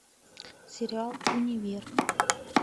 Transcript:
сериал универ